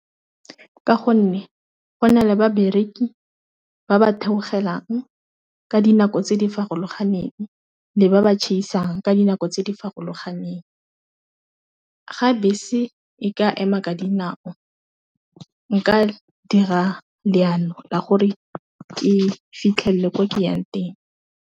Ka gonne go na le ba bereki ba ba theogelang ka dinako tse di farologaneng, le ba ba tšhaisang ka dinako tse di farologaneng, ga bese e ka ema ka dinao nka dira leano la gore ke fitlhelele ko ke yang teng.